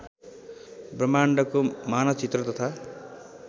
ब्रह्माण्डको मानचित्र तथा